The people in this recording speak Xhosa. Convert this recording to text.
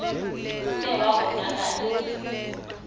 kclta wa konakala